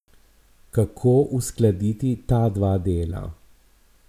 Kako uskladiti ta dva dela?